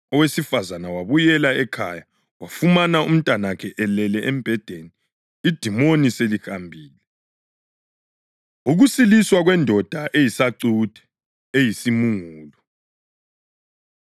Owesifazane wabuyela ekhaya wafumana umntanakhe elele embhedeni, idimoni selihambile. Ukusiliswa Kwendoda Eyisacuthe, Eyisimungulu